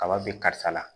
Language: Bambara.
Kaba be karisa la